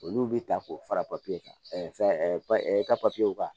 Olu bɛ ta k'o fara papiye kan fɛn ka ka